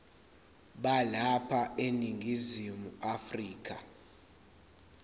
balapha eningizimu afrika